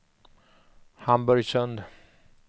Hamburgsund